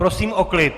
Prosím o klid!